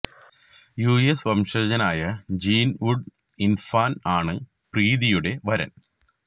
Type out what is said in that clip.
U S വംശജനായ Gene Goodenough ആണ് പ്രീതിയുടെ വരന്